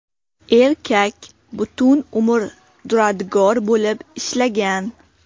Erkak butun umr duradgor bo‘lib ishlagan.